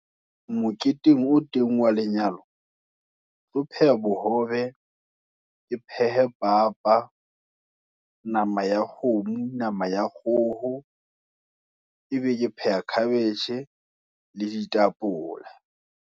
Moketeng o teng wa lenyalo, ketlo pheha bohobe, ke phehe papa, nama ya kgomo, nama ya kgoho, ebe ke pheha cabbage le ditapole.